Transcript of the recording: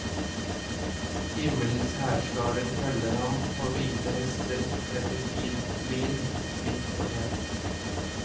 Himmelens hærskarer følger ham på hvite hester, kledd i fint lin, hvitt og rent.